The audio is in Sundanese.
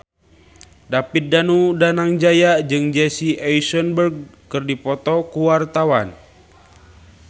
David Danu Danangjaya jeung Jesse Eisenberg keur dipoto ku wartawan